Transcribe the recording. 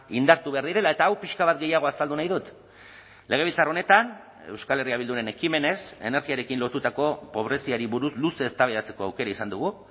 indartu behar direla eta hau pixka bat gehiago azaldu nahi dut legebiltzar honetan euskal herria bilduren ekimenez energiarekin lotutako pobreziari buruz luze eztabaidatzeko aukera izan dugu